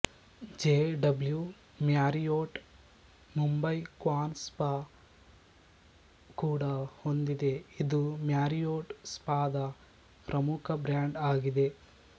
J W Marriott Mumbai Quan spa ಕೂಡ ಹೊಂದಿದೆ ಇದು ಮ್ಯಾರಿಯೊಟ್ ಸ್ಪಾ ದ ಪ್ರಮುಖ ಬ್ರ್ಯಾಂಡ್ ಆಗಿದೆ